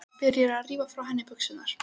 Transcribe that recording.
Byrjar að rífa frá henni buxurnar.